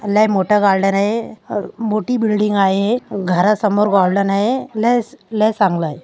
लय मोठा गार्डन आहे अ मोठी बिल्डींग आहे घरा समोर गार्डन आहे लय लय चांगल आहे.